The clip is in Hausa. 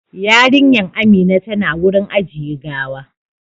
Yarinyan Amina tana wurin ajiye gawa